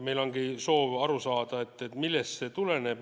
Meil ongi soov aru saada, millest see tuleneb.